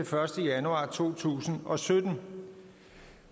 første januar to tusind og sytten